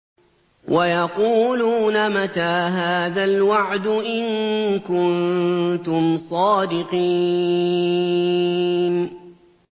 وَيَقُولُونَ مَتَىٰ هَٰذَا الْوَعْدُ إِن كُنتُمْ صَادِقِينَ